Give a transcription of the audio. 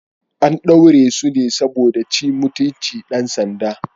An ɗaure su ne saboda sun ci mutunci dan sanda.